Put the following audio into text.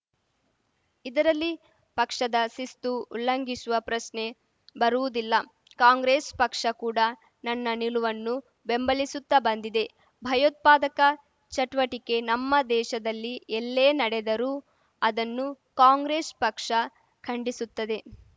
ಇದರಲ್ಲಿ ಪಕ್ಷದ ಶಿಸ್ತು ಉಲ್ಲಂಘಿಸುವ ಪ್ರಶ್ನೆ ಬರುವುದಿಲ್ಲ ಕಾಂಗ್ರೆಸ್‌ ಪಕ್ಷ ಕೂಡ ನನ್ನ ನಿಲುವನ್ನು ಬೆಂಬಲಿಸುತ್ತಾ ಬಂದಿದೆ ಭಯೋತ್ಪಾದಕ ಚಟುವಟಿಕೆ ನಮ್ಮ ದೇಶದಲ್ಲಿ ಎಲ್ಲೇ ನಡೆದರೂ ಅದನ್ನು ಕಾಂಗ್ರೆಸ್‌ ಪಕ್ಷ ಖಂಡಿಸುತ್ತದೆ